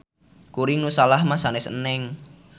Kuring nu salah mah sanes Eneng.